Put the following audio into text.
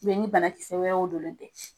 ni banakisɛ wɛrɛw don ne tɛ